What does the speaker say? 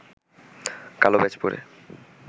কালো ব্যাজ পরে